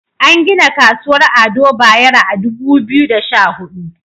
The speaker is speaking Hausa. An gina Kasuwar Ado Bayero a Dubu Biyu da Sha Hudu.